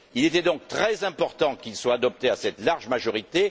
Il était donc très important qu'elle soit adoptée à cette large majorité.